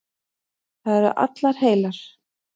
Það eru allar heilar.